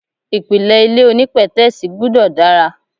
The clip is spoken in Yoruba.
Ìpìlẹ̀ ilé onípètẹ́sì gbúdọ̀ dára.